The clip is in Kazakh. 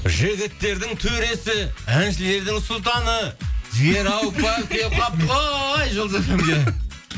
жігіттердің төресі әншілердің сұлтаны жігер ауыпбаев келіп қалыпты ғой жұлдыз фмге